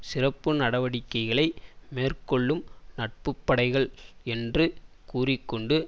சிறப்பு நடவடிக்கைகளை மேற்கொள்ளும் நட்பு படைகள் என்று கூறிக்கொண்டும்